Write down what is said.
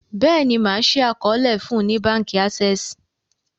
béèni ma ṣii àkọọlẹ fún ní bánkì Access.